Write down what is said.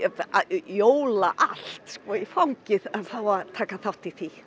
jóla allt í fangið að fá að taka þátt í því